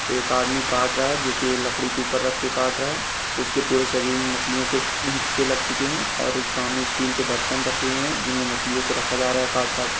एक आदमी काट रहा है जो कि ये लकड़ी के ऊपर रख के काट रहा है। उसके पूरे शरीर में मछलियों के हिस्से लग चुके हैं और सामने स्टील के बर्तन रखे हुए हैं जिनमें मछलियों को रखा जा रहा है काट-काट के।